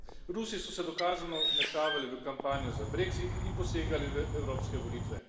Rusi so se dokazano vmešavali v kampanjo za brexit in posegali v evropske volitve.